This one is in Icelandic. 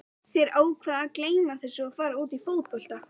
Þeir ákveða að gleyma þessu og fara út í fótbolta.